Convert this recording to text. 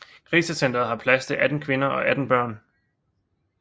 Krisecentret har plads til 18 kvinder og 18 børn